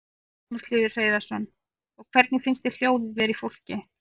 Magnús Hlynur Hreiðarsson: Og hvernig finnst þér hljóðið vera í fólki?